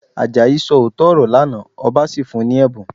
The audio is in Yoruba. Àjàyí sọ òótọ́ ọ̀rọ̀ lánàá, ọba sì fún un ní ẹ̀bùn